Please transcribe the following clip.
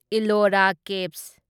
Ellora caves